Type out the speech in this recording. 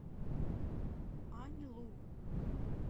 аньлу